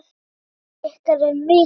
Harmur ykkar er mikill.